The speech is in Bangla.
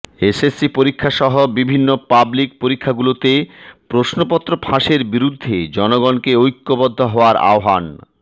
এস এস সি পরীক্ষাসহ বিভিন্ন পাবলিক পরীক্ষাগুলোতে প্রশ্নপত্র ফাঁসের বিরুদ্ধে জনগণকে ঐক্যবদ্ধ হওয়ার আহবান